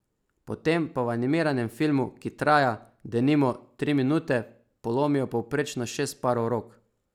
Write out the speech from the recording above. Potem pa v animiranem filmu, ki traja, denimo, tri minute, polomijo povprečno šest parov rok.